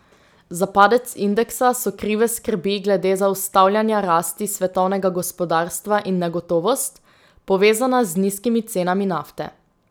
Za padec indeksa so krive skrbi glede zaustavljanja rasti svetovnega gospodarstva in negotovost, povezana z nizkimi cenami nafte.